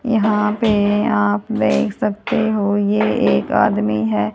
यहां पे आप देख सकते हो यह एक आदमी है।